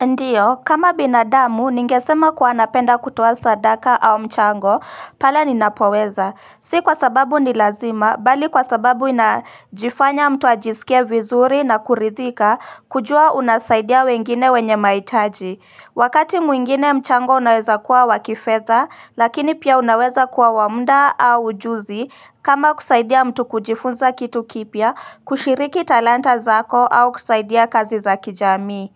Ndiyo, kama binadamu, ningesema kuwa napenda kutoa sadaka au mchango, pale ninapoweza. Si kwa sababu ni lazima, bali kwa sababu inajifanya mtu ajisikie vizuri na kuridhika, kujua unasaidia wengine wenye mahitaji. Wakati mwingine mchango unaweza kuwa wa kifedha, lakini pia unaweza kuwa wa muda au ujuzi, kama kusaidia mtu kujifunza kitu kipya, kushiriki talanta zako au kusaidia kazi za kijamii.